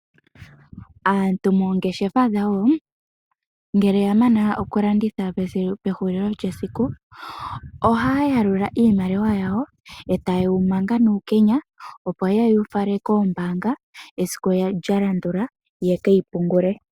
Aantu moongeshefa dhawo ngele ya mana okulanditha pehulilo lyesiku ohaya yalula iimaliwa yawo e taye yi manga nuukenya, opo ye yi fale koombaanga esiku lya landula ye ke yi pungule.